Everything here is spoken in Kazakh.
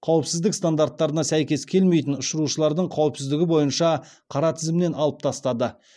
қауіпсіздік стандарттарына сәйкес келмейтін ұшырушылардың қауіпсіздігі бойынша қара тізімнен алып тастады